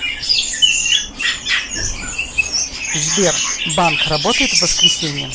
сбер банк работает в воскресенье